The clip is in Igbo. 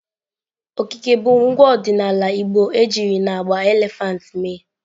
Okike bụ ngwa ọdịnala igbo ejiri n'agba elephant mee.